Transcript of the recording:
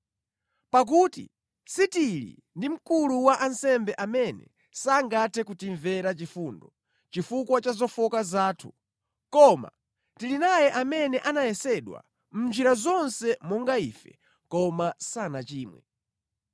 Pakuti sitili ndi Mkulu wa ansembe amene sangathe kutimvera chifundo chifukwa cha zofowoka zathu. Koma tili naye amene anayesedwa mʼnjira zonse monga ife, koma sanachimwe.